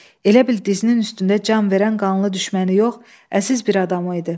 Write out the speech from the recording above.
Elə bil dizinin üstündə can verən qanlı düşməni yox, əziz bir adamı idi.